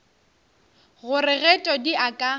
gore ge todi a ka